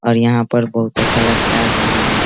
और यहाँ पर बहुत अच्छा लगता है घुमने में।